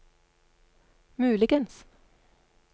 muligens